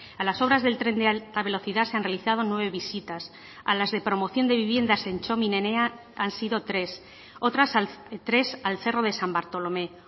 a las obras del tren de alta velocidad se han realizado nueve visitas a las de promoción de viviendas en txomin enea han sido tres otras tres al cerro de san bartolomé